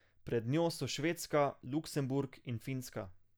Pred njo so Švedska, Luksemburg in Finska.